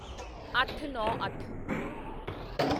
ਅੱਠਨੌਂਅੱਠ